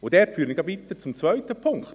Das führt mich weiter zum zweiten Punkt.